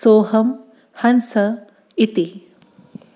सोऽहं हंस इति